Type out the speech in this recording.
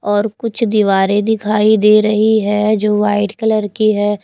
और कुछ दीवारें दिखाई दे रही है जो वाइट कलर की है।